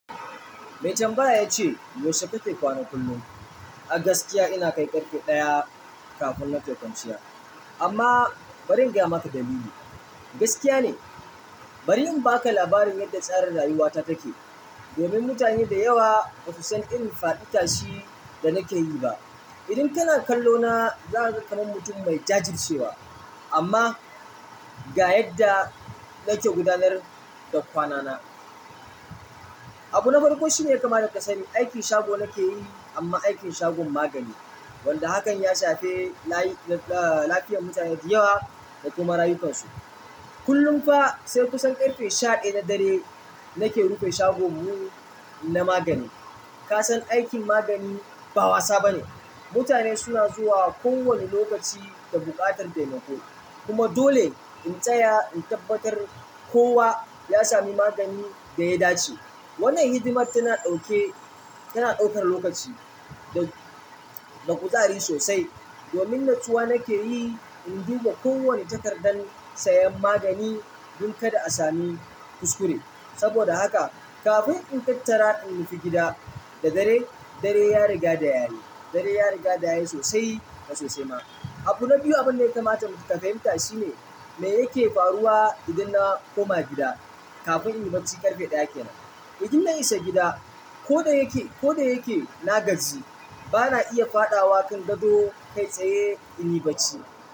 Mai tambaya ya ce, "Yaushe kake kwana kullum?" A gaskiya ina kai ƙarfe ɗaya kafin nake kwanciya. Amma bari in gaya maka dalili. Gaskiya ne, bari in baka labarin yadda tsarin rayuwata take. Domin mutane da yawa basu san irin faɗi tashin danake yi ba idan kana kallona zakaga kaman mutun mai jajircewa amma ga yadda nake gudanar da kwanana. Abu na farko shine kama da kasani, aikin shago nake yi amma aikin shagon magani wanda hakan ya shafi layi-- ɗa, ɗa, lafiyar mutane da yawa da kuma rayukansu. Kullum fa sai kusan ƙarfe shaɗaya na dare nake rufe shagon mu na magani. Ka san aikin magani ba wasa bane. Mutane suna zuwa kowane lokaci da buƙatar taimako. Kuma dole in tsaya in tabbatar kowa ya sami magani da ya dace. Wannan hidimar tana ɗaukan lokaci da kuzari sosai domin natsuwa nake yi in duba kowane takardar sayan magani dun kada a sami kuskure. Saboda haka kafin in tattara in rufe gida da dare, dare ya riga da yare. Dare ya riga da yare sosai da sosai ma. Abu na biyu abin da ya kamata mu taka himta shi ne, me yake faruwa idan na koma gida kafin in yi bacci ƙarfe ɗaya kenan. Idan na isa gida, ko da yake, ko da yake na gaji, bana iya faɗawa kan gado kai tsaye in yi bacci.